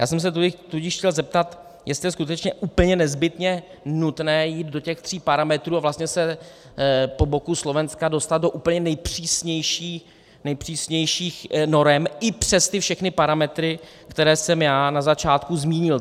Já jsem se tudíž chtěl zeptat, jestli je skutečně úplně nezbytně nutné jít do těch tří parametrů a vlastně se po boku Slovenska dostat do úplně nejpřísnějších norem, i přes ty všechny parametry, které jsem já na začátku zmínil.